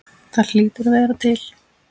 Það hlýtur að vera til?